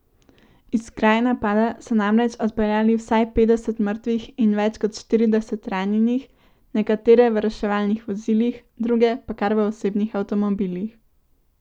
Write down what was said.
Iz kraja napada so namreč odpeljali vsaj petdeset mrtvih in več kot štirideset ranjenih, nekatere v reševalnih vozilih, druge pa kar v osebnih avtomobilih.